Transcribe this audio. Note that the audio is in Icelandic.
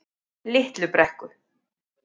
Litlu Brekku